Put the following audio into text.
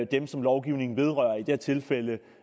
dem som lovgivningen vedrører i det her tilfælde